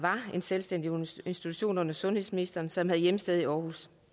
en selvstændig institution under sundhedsministeren som havde hjemsted i aarhus